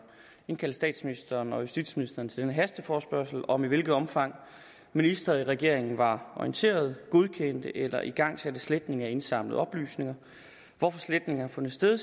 indkaldt statsministeren og justitsministeren til denne hasteforespørgsel om i hvilket omfang ministrene i regeringerne var orienteret godkendte eller igangsatte sletning af indsamlede oplysninger hvorfor sletningerne fandt sted